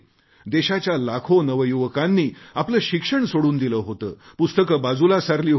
देशाच्या लाखो नवयुवकांनी आपले शिक्षण सोडून दिले होते पुस्तके बाजूला सारली होती